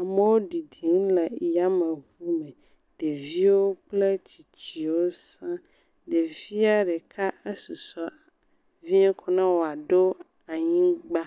Amo ɖiɖim le yameŋu me, ɖeviwo kple tsitswo siã, ɖevia ɖeka esusɔ vie ko ne wòaɖo anyigba,